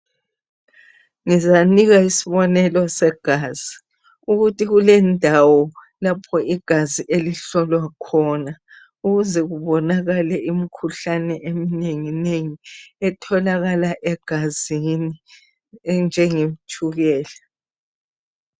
Ngizanika isibonelo segazi ukuthi kulendawo lapho igazi elihlolwa khona ukuze kubonakale imikhuhlane eminengi nengi etholakala egazini enjenge tshukela